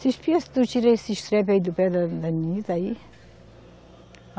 Você espia se tu tira esse estrepe aí do pé da, da aí.